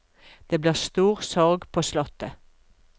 Det blir stor sorg på slottet.